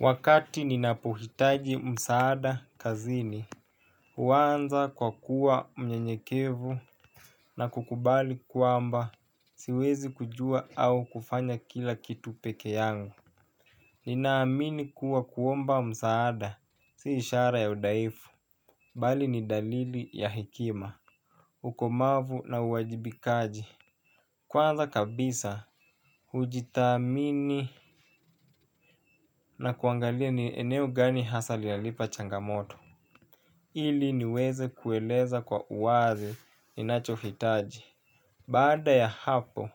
Wakati ninapo hitaji msaaada kazini huanza kwa kua mnyenyekevu na kukubali kwamba siwezi kujua au kufanya kila kitu peke yangu ninaamini kuwa kuomba msaada si ishara ya udhaifu bali ni dalili ya hekima ukomavu na uwajibikaji. Kwanza kabisa, hujithamini na kuangalia ni eneo gani hasa linanipa changamoto. Ili niweze kueleza kwa uwazi ni nachohitaji. Baada ya hapo,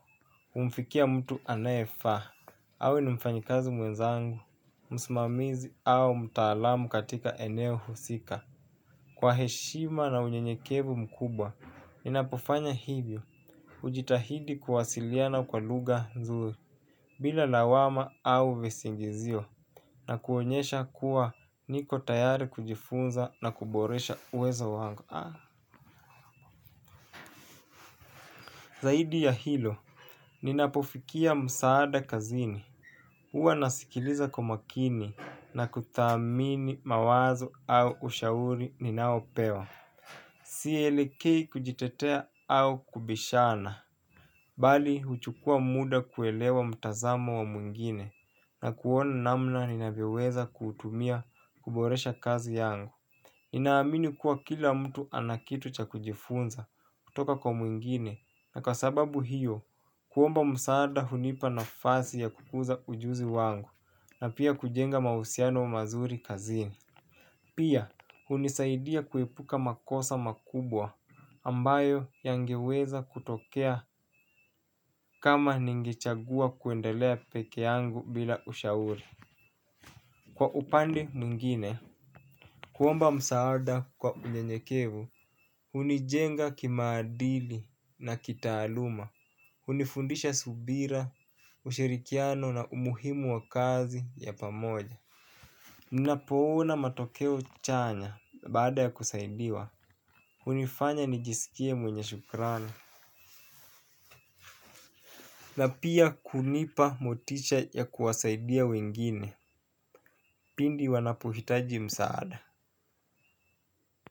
humfikia mtu anaefaa. Awe ni mfanyakazi mwezangu, msmamizi au mtaalamu katika eneo husika. Kwa heshima na unyenyekevu mkubwa ninapo fanya hivyo hujitahidi kuwasiliana kwa lugha nzuri bila lawama au visingizio, na kuonyesha kuwa niko tayari kujifunza na kuboresha uwezo wangu. Zaidi ya hilo, ninapofikia msaada kazini uwa nasikiliza makini na kuthamini mawazo au ushauri ninao pewa. Si elekei kujitetea au kubishana bali huchukua muda kuelewa mtazamo wa mwingine na kuona namna ninavyoweza kutumia kuboresha kazi yangu. Nina amini kuwa kila mtu anakitu cha kujifunza kutoka kwa mwingine na kwa sababu hiyo kuomba msaada hunipa nafasi ya kukuza ujuzi wangu na pia kujenga mahusiano wa mazuri kazini. Pia hunisaidia kuepuka makosa makubwa ambayo yange weza kutokea kama ningechagua kuendelea peke yangu bila ushauri. Kwa upande mwingine, kuomba msaada kwa unyenyekevu, hunijenga kimaadili na kitaaluma, hunifundisha subira, ushirikiano na umuhimu wa kazi ya pamoja ni napoona matokeo chanya baada ya kusaidiwa, hunifanya nijisikie mwenye shukurani na pia kunipa motisha ya kuwasaidia wengine, pindi wanapohitaji msaada.